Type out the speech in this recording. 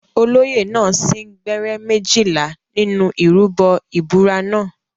Olóyè náà sín gbẹ́rẹ́ méjìlá nínú ìrúbọ ìbúra náà.